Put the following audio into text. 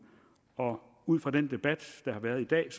og ud fra den debat der har været i dag